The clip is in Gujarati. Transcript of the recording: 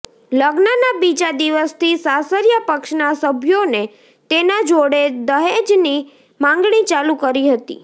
લગ્નના બીજા દિવસથી સાસરીયા પક્ષના સભ્યોને તેના જોડે દહેજની માંગણી ચાલુ કરી હતી